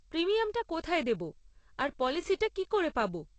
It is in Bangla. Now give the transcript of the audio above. প্রিমিয়ামটা কোথায় দেব আর পলিসিটা কি করে পাব?